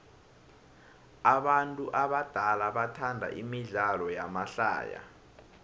abantu abadala bathanda imidlalo yamahlaya